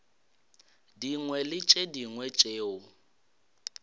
dingwe le tše dingwe tšeo